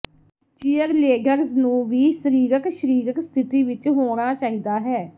cheerleaders ਨੂੰ ਵੀ ਸਰੀਰਕ ਸ਼ਰੀਰਕ ਸਥਿਤੀ ਵਿੱਚ ਹੋਣਾ ਚਾਹੀਦਾ ਹੈ